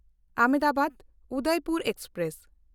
ᱟᱦᱚᱢᱫᱟᱵᱟᱫ–ᱩᱫᱚᱭᱯᱩᱨ express